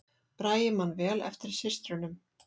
Bragi man vel eftir systrunum